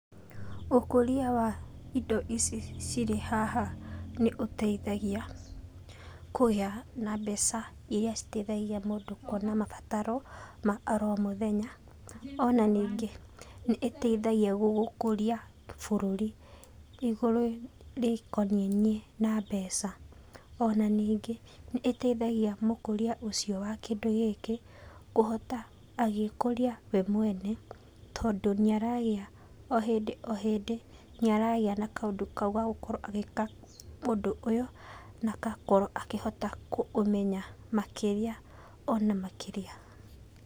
Ũkũria wa indo ici cirĩ haha nĩũteithagia kũgĩa na mbeca iria citeithagia mũndũ kũona mabataro ma oro mũthenya. Ona ningĩ nĩĩteithagia gũkũria bũrũri igũrũ rĩkonainie na mbeca. Ona ningĩ nĩĩteithagia mũkũria ũcio wa kĩndũ gĩkĩ kũhota agĩkũria we mwene, tondũ nĩaragĩa o hindĩ o hĩndĩ nĩaragĩa na kaũndũ kau ga gũkorwo agĩka ũndũ ũyũ na agakorwo akĩhota kũmenya makĩria ona makĩria.